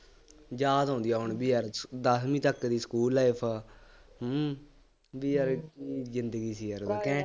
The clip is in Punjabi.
ਯਾਦ ਆਉਂਦੀ ਹੈ ਹੁਣ ਵੀ ਅੱਜ, ਦੱਸਵੀਂ ਤੱਕ ਦੀ school life ਹੂੰ ਬਈ ਯਾਰ ਜ਼ਿੰਦਗੀ ਸੀ ਯਾਰ